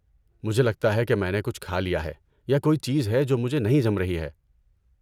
مجھے لگتا ہے کہ میں نے کچھ کھا لیا ہے یا کوئی چیز ہے جو مجھے نہیں جم رہی ہے۔